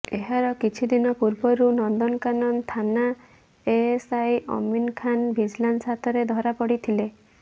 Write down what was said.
ଏହାର କିଛି ଦିନ ପୂର୍ବରୁ ନନ୍ଦନକାନନ ଥାନା ଏଏସ୍ଆଇ ଅମିନ୍ ଖାନ ଭିଜିଲାନ୍ସ ହାତରେ ଧରା ପଡ଼ିଥିଲେ